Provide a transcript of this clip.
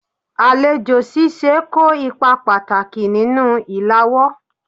Alejo sise ko ipa pataki ninu ilawo